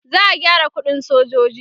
za'a gyara ƙuɗin sojoji